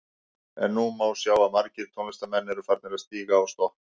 En nú má sjá að margir tónlistarmenn eru að farnir að stíga á stokk.